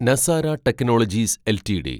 Nazara technologies LTD